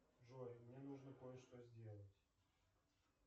джой мне нужно кое что сделать